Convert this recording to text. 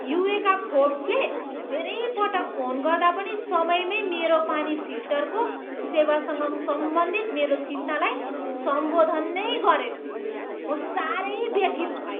Eureka फोर्ब्सले धेरै पटक फोन गर्दा पनि समयमै मेरो पानी फिल्टरको सेवासँग सम्बन्धित मेरो चिन्तालाई सम्बोधन नै गरेन। म साह्रै व्यथित भएँ।